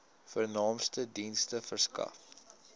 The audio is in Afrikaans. vernaamste dienste verskaf